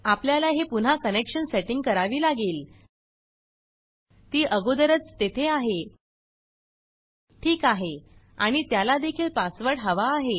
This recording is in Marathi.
आपल्याला हे पुन्हा कनेक्शन सेटिंग करावी लागेल ती अगोदरच तेथे आहे ठीक आहे आणि त्याला देखील पासवर्ड हवा आहे